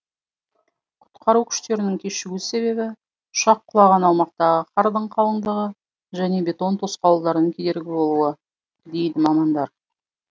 құтқару күштерінің кешігу себебі ұшақ құлаған аумақтағы қардың қалыңдығы және бетон тосқауылдарының кедергі болуы дейді мамандар